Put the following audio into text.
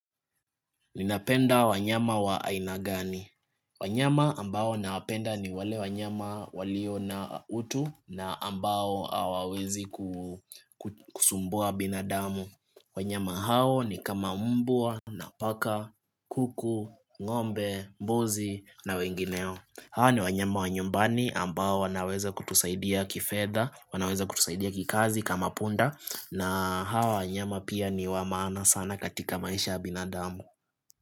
Ninapenda wanyama waainagani. Wanyama ambao nawapenda ni wale wanyama walio na utu na ambao awawezi ku kusumbua binadamu. Wanyama hao ni kama mbwa napaka, kuku, ngombe, mbuzi na wengineo. Hao ni wanyama wa nyumbani ambao wanaweza kutusaidia kifedha, wanaweza kutusaidia kikazi kama punda na hao wanyama pia ni wamaana sana katika maisha ya binadamu.